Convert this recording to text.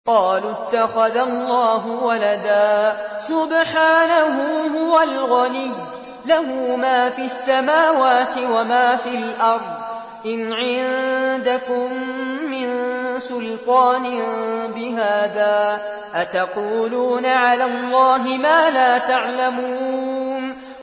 قَالُوا اتَّخَذَ اللَّهُ وَلَدًا ۗ سُبْحَانَهُ ۖ هُوَ الْغَنِيُّ ۖ لَهُ مَا فِي السَّمَاوَاتِ وَمَا فِي الْأَرْضِ ۚ إِنْ عِندَكُم مِّن سُلْطَانٍ بِهَٰذَا ۚ أَتَقُولُونَ عَلَى اللَّهِ مَا لَا تَعْلَمُونَ